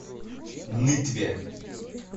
нытве